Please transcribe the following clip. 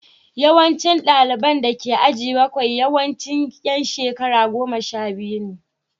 Yawancin ɗaliban da ke aji bakwai yawanci ’yan shekara goma sha biyu ne